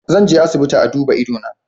Zan je asibiti a duba ido na.